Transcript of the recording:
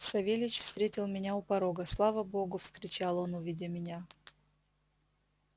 савельич встретил меня у порога слава богу вскричал он увидя меня